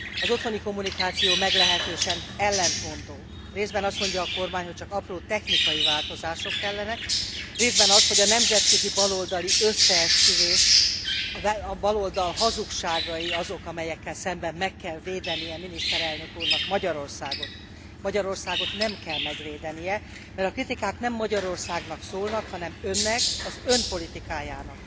Az otthoni kommunikáció meglehetősen ellentmondó részben azt mondja a kormány, hogy csak apró, technikai változások kellenek, részben azt, hogy a nemzetközi baloldali összeesküvés, a baloldal hazugságai azok, amelyekkel szemben meg kell védeni miniszterelnök úrnak Magyarországot. Magyarországot nem kell megvédenie, mert a kritikák nem Magyarországnak szólnak, hanem önnek, az ön politikájának,